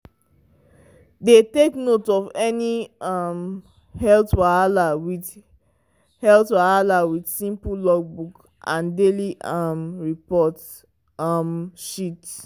dey take note of any um health wahala with health wahala with simple logbook and daily um report um sheet.